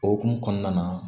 O hokumu kɔnɔna na